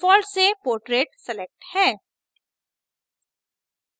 default से portrait selected है